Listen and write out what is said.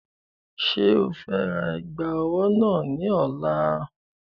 Ṣé o fe ra ẹ̀gbà ọwọ́ náà ní ọ̀la?